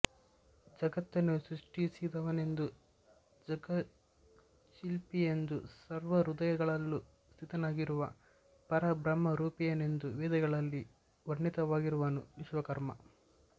ಜಗತ್ತನ್ನು ಸೃಷ್ಟಿಸಿದವನೆಂದೂ ಜಗಚ್ಛಿಲ್ಪಿಯೆಂದೂ ಸರ್ವಹೃದಯಗಳಲ್ಲೂ ಸ್ಥಿತನಾಗಿರುವ ಪರಬ್ರಹ್ಮರೂಪಿಯೆಂದೂ ವೇದಗಳಲ್ಲಿ ವರ್ಣಿತವಾಗಿರುವನು ವಿಶ್ವಕರ್ಮ